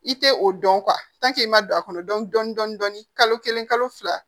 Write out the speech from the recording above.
I tɛ o dɔn i ma don a kɔnɔ dɔn dɔni dɔni dɔni kalo kelen kalo fila